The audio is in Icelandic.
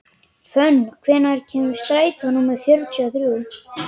Fönn, hvenær kemur strætó númer fjörutíu og þrjú?